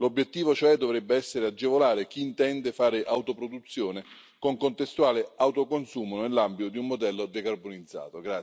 L'obiettivo, cioè, dovrebbe essere agevolare chi intende fare autoproduzione con contestuale autoconsumo nell'ambito di un modello decarbonizzato.